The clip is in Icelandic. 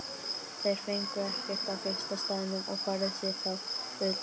Þeir fengu ekkert á fyrsta staðnum og færðu sig þá utar.